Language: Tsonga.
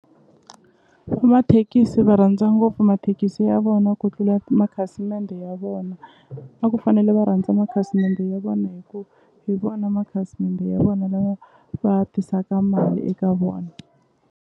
Mathekisi va rhandza ngopfu mathekisi ya vona ku tlula makhasimende ya vona a ku fanele va rhandza makhasimende ya vona hi ku hi vona makhasimende ya vona lava va tisaka mali eka vona.